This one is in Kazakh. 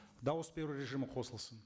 дауыс беру режимі қосылсын